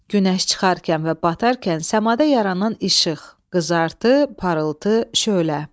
Günəş çıxarkən və batarkən səmada yaranan işıq, qızartı, parıltı, şölə.